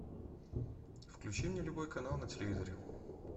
включи мне любой канал на телевизоре